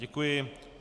Děkuji.